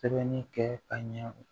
Sɛbɛnni kɛ ka ɲɛ